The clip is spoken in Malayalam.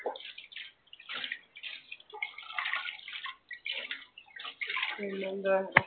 പിന്നെന്താ?